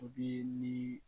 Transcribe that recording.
ni